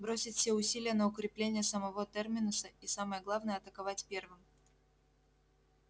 бросить все усилия на укрепление самого терминуса и самое главное атаковать первым